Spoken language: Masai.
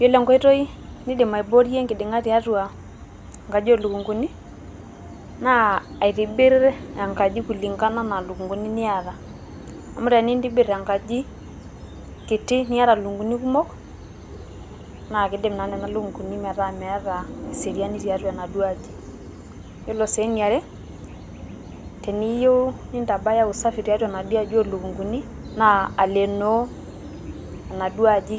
Yiolo enkoitoi nidim aiboorie enkiding`a tiatua enkaji oo lukunguni. Naa aitibirr enkaji kulingana o lukunguni niata. Amu tenintibirr enkaji kiti niata lukunguni kumok, naa kidim naa nena lukunguni metaa meeta e seriani tiatua enaduo aji. Ore sii eniare teniyieu nintabaya usafi tiatua enaduo aji oo lukunguni naa alenoo enaduo aji